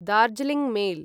Darjeeling mail